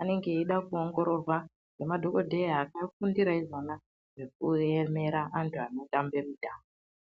anenge eida kuongororwa ngemadhokodheya akafundira izvona zvekuemera antu anotamba mutambo.